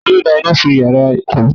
Talọ́ dá iná sún iyàrá kọmputa?